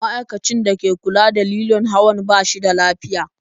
Ma'aikacin da ke kula da lilon hawan ba shi da lafiya.